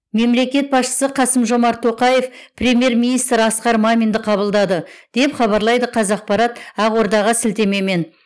мемлекет басшысы қасым жомарт тоқаев премьер министр асқар маминді қабылдады деп хабарлайды қазақпарат ақордаға сілтемемен